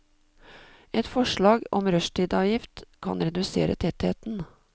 Et forslag om rushtidsavgift kan redusere tettheten.